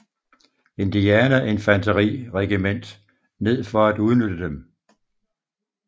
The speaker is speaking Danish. Indiana Infanteri regiment ned for at udnytte dem